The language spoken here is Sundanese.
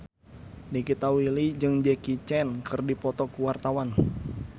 Nikita Willy jeung Jackie Chan keur dipoto ku wartawan